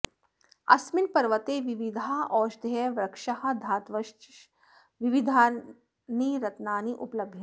अस्मिन् पर्वते विविधाः ओषधयः वृक्षाः धातवश्च विविधानि रत्नानि उपलभ्यन्ते